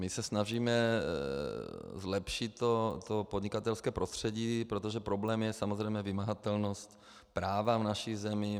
My se snažíme zlepšit to podnikatelské prostředí, protože problém je samozřejmě vymahatelnost práva v naší zemi.